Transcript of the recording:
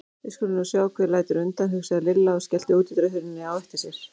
Við skulum nú sjá hver lætur undan, hugsaði Lilla og skellti útidyrahurðinni á eftir sér.